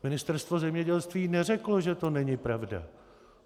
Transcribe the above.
Ministerstvo zemědělství neřeklo, že to není pravda.